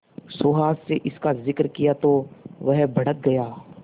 सुहास से इसका जिक्र किया तो वह भड़क गया